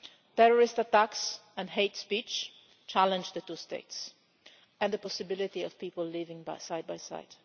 Terrorist attacks and hate speech challenge the two states and the possibility of people living side by side.